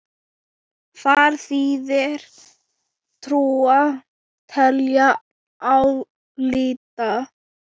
Þar þýðir trúa: telja, álíta.